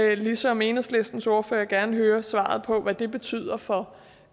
vil ligesom enhedslistens ordfører gerne høre svaret på hvad det betyder for